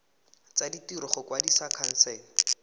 tsa ditiro go kwadisa khansele